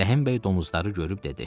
Rəhimbəy domuzları görüb dedi.